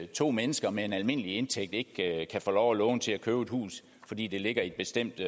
to mennesker med en almindelig indtægt ikke kan få lov at låne til at købe et hus fordi det ligger i et bestemt